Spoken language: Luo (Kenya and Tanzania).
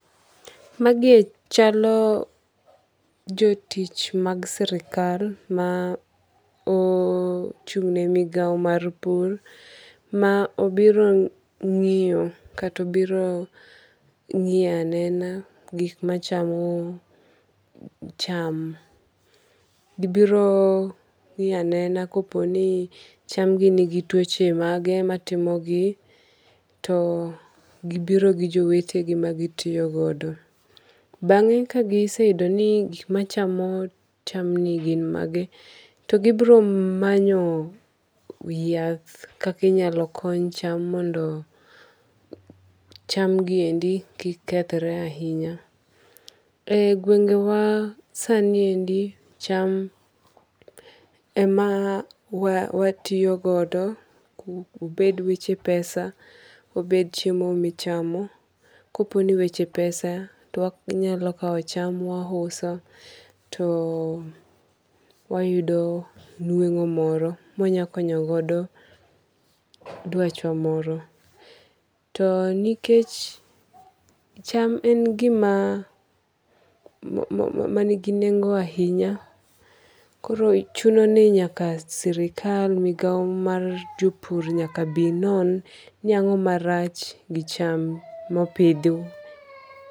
Magi ee chalo jotich mag sirikal ma ochug'ne migao mar pur ma obiro ng'iyo kata obiro ng'iyo anena gik machamo cham. Gi biro ng'iyo anena koponi chamgi ni gi tuoche mage matimogi .To gi biro gi jowete gi ,ma gi tiyo godo. Bang'e ka giseyudo ni gik machamo chamgi gin mage to gi biro manyo yath kaka inyalo kony cham mondo chamgi endi kik kethre ahinya. Eyi gwengewa sani endi cham ema wa watiyo godo obed weche pesa, obed chiemo michamo koponi weche pesa to wanyalo cham wahuso to wayudo nweng'o moro mwanyalo konyo godo dwachwa moro. To nikech cham en gima ma ma nigi nengo ahinya koro chunoni nyaka sirikal migao mar jopur nyaka bi non ni ang'oma rach gi cham mopidhi.